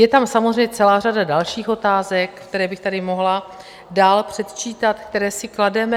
Je tam samozřejmě celá řada dalších otázek, které bych tady mohla dál předčítat, které si klademe.